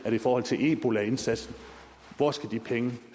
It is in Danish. i forhold til ebolaindsatsen hvor skal de penge